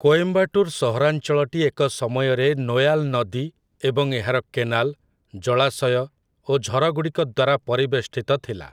କୋଏମ୍ବାଟୁର ସହରାଞ୍ଚଳଟି ଏକ ସମୟରେ ନୋୟାଲ ନଦୀ ଏବଂ ଏହାର କେନାଲ, ଜଳାଶୟ ଓ ଝରଗୁଡ଼ିକ ଦ୍ୱାରା ପରିବେଷ୍ଟିତ ଥିଲା ।